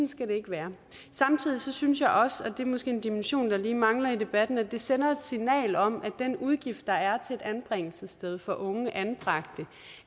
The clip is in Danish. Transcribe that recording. skal det ikke være samtidig synes jeg også og det er måske en dimension der lige mangler i debatten at det sender et signal om at den udgift der er til et anbringelsessted for unge anbragte